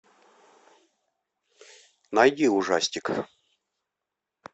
найди ужастик